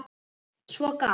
Svo gaf